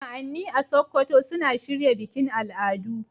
Sa'anni a Sokoto suna shirya bikin al'adu.